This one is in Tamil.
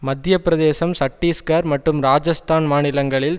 மத்திய பிரதேசம் சட்டிஸ்கர் மற்றும் ராஜஸ்தான் மாநிலங்களில்